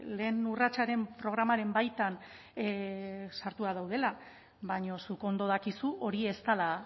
lehen urratsaren programaren baitan sartuak daudela baina zuk ondo dakizu hori ez dela